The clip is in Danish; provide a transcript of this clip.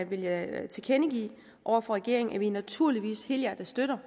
vil jeg tilkendegive over for regeringen at vi naturligvis helhjertet støtter